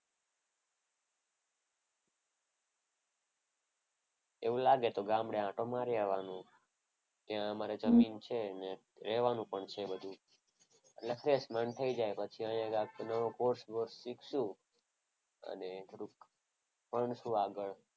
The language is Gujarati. એવું લાગે તો ગામડે આટો મારી આવવાનો. ત્યાં મારે જમીન છે અને રહેવાનું પણ છે બધું. એટલે ફ્રેશ મન થઈ જાય પછી અહીંયા કોઈ કોર્સ કોર્સ શીખશો અને થોડુંક ભણશું આગળ.